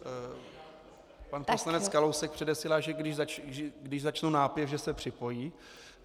Pan poslanec Kalousek předesílá, že když začnu nápěv, že se připojí.